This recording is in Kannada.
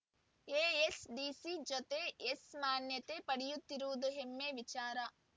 ಎ‌ಎಸ್‌ಡಿಸಿ ಜತೆ ಯೆಸ್ ಮಾನ್ಯತೆ ಪಡೆಯುತ್ತಿರುವುದು ಹೆಮ್ಮೆ ವಿಚಾರ